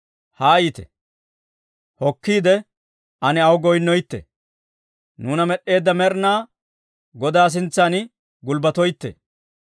Haayite; hokkiide ane aw goyinnoytte; nuuna med'd'eedda Med'inaa Godaa sintsan gulbbatoytte.